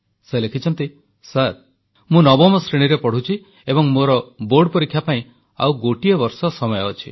ସେ ଲେଖିଛନ୍ତି ସାର୍ ମୁଁ ନବମ ଶ୍ରେଣୀରେ ପଢ଼ୁଛି ଏବଂ ମୋର ବୋର୍ଡ ପରୀକ୍ଷା ପାଇଁ ଆଉ ଗୋଟିଏ ବର୍ଷ ସମୟ ଅଛି